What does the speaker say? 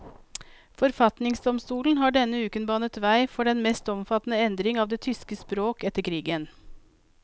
Forfatningsdomstolen har denne uken banet vei for den mest omfattende endring av det tyske språk etter krigen.